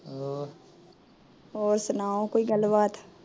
ਹੋਰ ਸੁਣਾਓ ਕੋਈ ਗੱਲਬਾਤ